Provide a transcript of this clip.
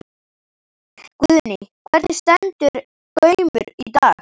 Guðný: Hvernig stendur Gaumur í dag?